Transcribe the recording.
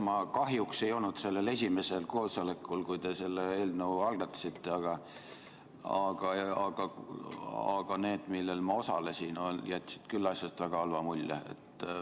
Ma kahjuks ei olnud sellel esimesel koosolekul, kui te eelnõu algatasite, aga need, kus ma osalesin, jätsid asjast küll väga halva mulje.